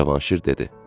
Cavanşir dedi: